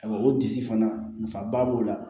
o disi fana nafaba b'o la